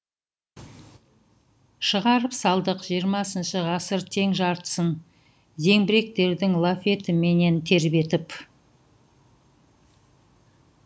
шығарып салдық жиырмасыншы ғасыр тең жартсын зеңбіректердің лафетіменен тербетіп